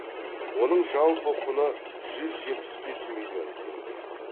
оның жалпы құны жүз жетпіс бес миллион теңге